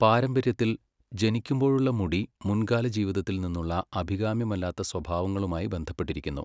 പാരമ്പര്യത്തിൽ, ജനിക്കുമ്പോഴുള്ള മുടി മുൻകാല ജീവിതത്തിൽ നിന്നുള്ള അഭികാമ്യമല്ലാത്ത സ്വഭാവങ്ങളുമായി ബന്ധപ്പെട്ടിരിക്കുന്നു.